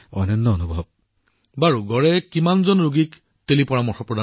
প্ৰধানমন্ত্ৰীঃ teleconsultation কেছৰ জৰিয়তে গড়ে কিমান জন ৰোগী চাইছে